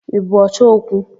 Ị bụ ọchọ okwu?